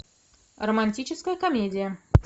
романтическая комедия